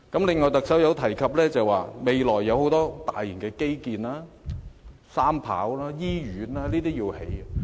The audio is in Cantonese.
此外，特首提及未來有很多大型基建，要興建機場第三條跑道、醫院等。